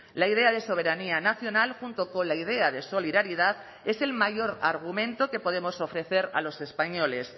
la idea de soberanía nacional junto con la idea de solidaridad es el mayor argumento que podemos ofrecer a los españoles